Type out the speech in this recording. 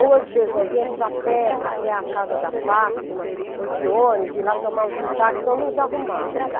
Ou, às vezes, nós íamos a pé até a casa da Fátima, ou de ônibus, de lá tomávamos um táxi, nós nos arrumávamos.